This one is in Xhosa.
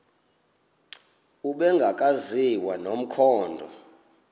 ubrenda akaziwa nomkhondo